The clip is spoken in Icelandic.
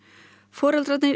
foreldrarnir